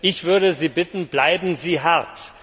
Ich würde Sie bitten Bleiben Sie hart!